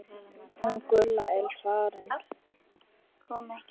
Hún Gulla er farin